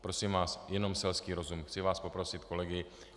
Prosím vás, jenom selský rozum, chci vás poprosit, kolegové.